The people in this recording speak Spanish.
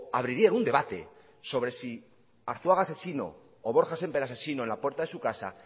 abrirían un debate sobre si arzuaga asesino o borja sémper asesino en la puerta de su casa